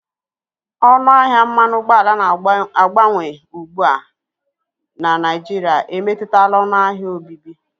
Ọnụ ahịa mmanụ ụgbọala na-agbanwe ugbu a na Naịjirịa emetụtala ọnụ ahịa obibi.